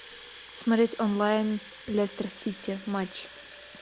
смотреть онлайн лестер сити матч